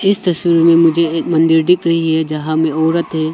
इस तस्वीर में मुझे एक मंदिर दिख रही है जहां में औरत है।